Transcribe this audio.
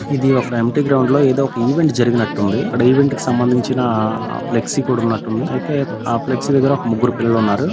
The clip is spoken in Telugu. ఇది ఒక ఎంప్టీ గ్రౌండ్ లో ఏదో ఒక ఈవెంట్ జరిగినట్టుంది. అక్కడ ఈవెంట్ కి సంబంధించిన ఫ్లెక్సీ కూడా ఉన్నటుంది. అయితే ఆ ఫ్లెక్సీ దగ్గర ఒక ముగ్గురు పిల్లలు ఉన్నారు.